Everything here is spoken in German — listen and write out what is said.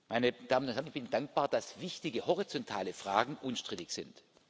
Meine Damen und Herren, ich bin dankbar, dass wichtige horizontale Fragen unstrittig sind.